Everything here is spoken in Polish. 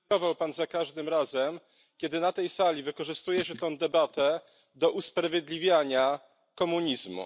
Pan za każdym razem, kiedy na tej sali wykorzystuje się tę debatę do usprawiedliwiania komunizmu.